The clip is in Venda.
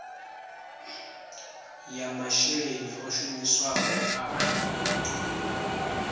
ya masheleni o shumisiwaho a